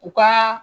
U ka